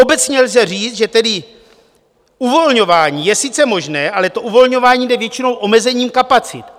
Obecně lze říct, že tedy uvolňování je sice možné, ale to uvolňování jde většinou omezením kapacit.